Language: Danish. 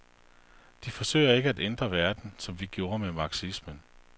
De forsøger ikke at ændre verden, som vi gjorde med marxismen.